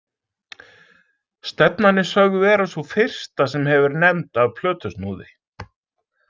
Stefnan er sögð vera sú fyrsta sem hefur verið nefnd af plötusnúði.